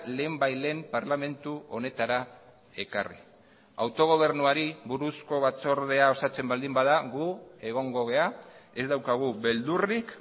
lehenbailehen parlamentu honetara ekarri autogobernuari buruzko batzordea osatzen baldin bada gu egongo gara ez daukagu beldurrik